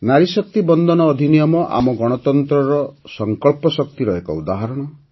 ନାରୀ ଶକ୍ତି ବନ୍ଦନ ଅଧିନିୟମ ଆମ ଗଣତନ୍ତ୍ରର ସଂକଳ୍ପ ଶକ୍ତିର ଏକ ଉଦାହରଣ